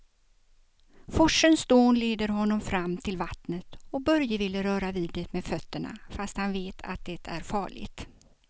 Forsens dån leder honom fram till vattnet och Börje vill röra vid det med fötterna, fast han vet att det är farligt.